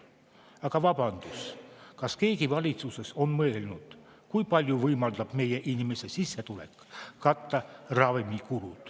Aga vabandust, kas keegi valitsuses on mõelnud, kui suure osa ravimikuludest võimaldab meie inimeste sissetulek katta?